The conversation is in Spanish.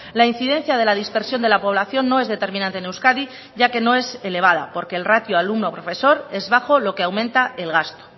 la incidencia de la dispersión de la población no es determinante en euskadi ya que no es elevada porque el ratio alumno profesor es bajo lo que aumenta el gasto